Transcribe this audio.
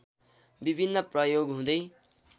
विभिन्न प्रयोग हुँदै